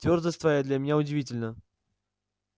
твёрдость твоя для меня удивительна